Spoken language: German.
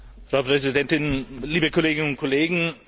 Frau Präsidentin, liebe Kolleginnen und Kollegen!